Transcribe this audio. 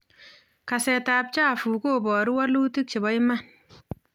Kasetab chafuk kobaruu walutik cheboo iman